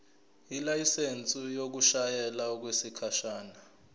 ilayisensi yokushayela okwesikhashana